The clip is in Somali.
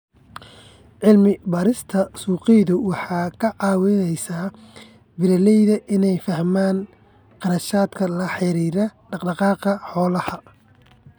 Cilmi-baarista suuqyadu waxay ka caawisaa beeralayda inay fahmaan kharashyada la xiriira dhaq-dhaqaaqa xoolaha.